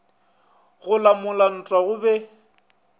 go lamola ntwa go be